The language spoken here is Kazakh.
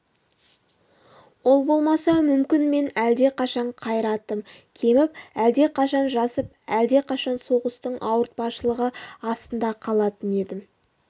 ол болмаса мүмкін мен әлдеқашан қайратым кеміп әлдеқашан жасып әлдеқашан соғыстың ауыртпашылығы астында қалатын едім